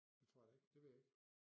Det tror jeg da ikke det ved jeg ikke